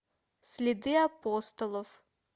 следы апостолов